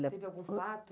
Teve algum fato?